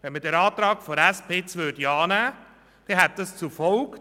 Nähme man den Antrag der SP-JUSO-PSA-Fraktion an, dann hätte dies folgendes zur Folge: